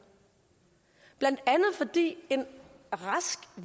blandt andet fordi en rask